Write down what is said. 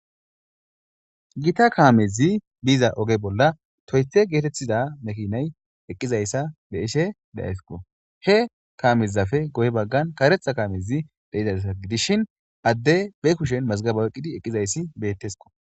Gita kamezi biza oge bolla Toyota getetiza kamezi bishe dizaysa be'aysi hekamezape guye bagan karetha kamezi dizaysa gidishin Adey be kushen mezgebe oyqidi betesko